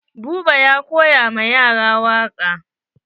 Buba ya koya ma yaran waƙa.